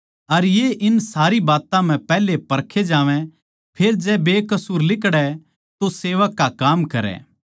अर ये इन सारी बात्तां म्ह पैहले परखे जावैं फेर जै बेकसूर लिकड़ै तो सेवक का काम करै